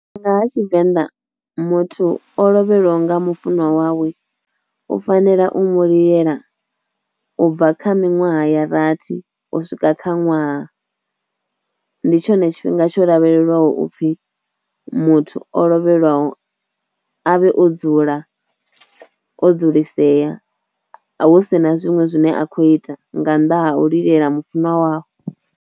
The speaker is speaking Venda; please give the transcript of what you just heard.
Nga ha tshivenḓa, muthu o lovheliwa nga mufunwa wawe u fanela u mu lilela ubva kha miṅwaha ya rathi u swika kha ṅwaha ndi tshone tshifhinga tsho lavhelelwaho upfhi muthu o lovhelaho avhe o dzula o dzulisea hu si na zwiṅwe zwine a khou ita nga nnḓa hau lilela mufunwa wawe.